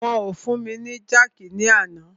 Wọn o fún mi ni jákìí ní àná.